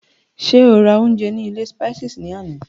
Ṣé o rà oúnjẹ ní ilé Spices ní àná?